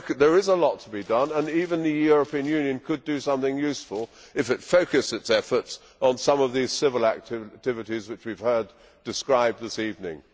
There is a lot to be done and even the European Union could do something useful if it focused its efforts on some of the civil activities which we have heard described this evening.